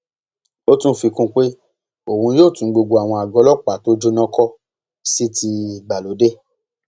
ó tún fi kún un pé òun yóò tún gbogbo àwọn àgọ ọlọpàá tó jóná kó sì ti ìgbàlódé